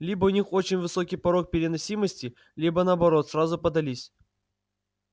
либо у них очень высокий порог переносимости либо наоборот сразу поддались